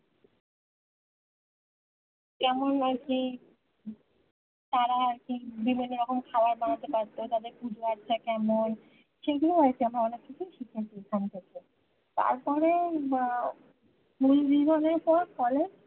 কেমন আর কি তারা আর কি বিভিন্ন রকমের খাওয়ার বানাতে পারতো তাদের বাচ্ছা কেমন সেই গুলো আর কি আমরা অনেক কিছুই শিখেছি ওখান থেকে তারপরে school জীবনের পর collage